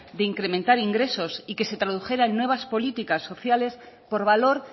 de incrementar ingresos y que se tradujera en nuevas políticas sociales por valor